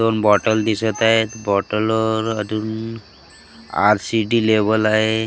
दोन बॉटल दिसत आहेत बॉटलवर अदून आर_सी_डी लेबल आहे .